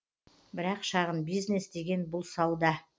бірақ шағын бизнес деген бұл сауда